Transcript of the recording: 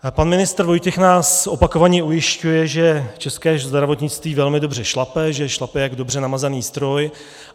Pan ministr Vojtěch nás opakovaně ujišťuje, že české zdravotnictví velmi dobře šlape, že šlape jak dobře namazaný stroj.